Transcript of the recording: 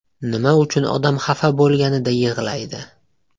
Nima uchun odam xafa bo‘lganida yig‘laydi?.